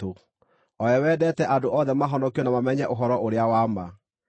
o we wendete andũ othe mahonokio na mamenye ũhoro-ũrĩa-wa-ma.